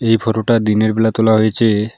এই ফটো -টা দিনের বেলা তোলা হয়েছে।